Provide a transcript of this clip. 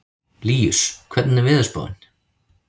Líus, hvernig er veðurspáin?